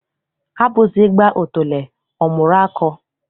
Agbụsị gbaa otule, ọ mụrụ akọ.